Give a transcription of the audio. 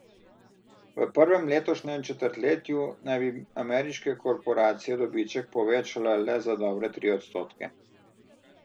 V prvem letošnjem četrtletju naj bi ameriške korporacije dobiček povečale le za dobre tri odstotke.